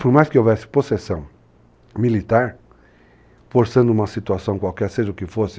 Por mais que houvesse possessão militar, forçando uma situação qualquer, seja o que fosse,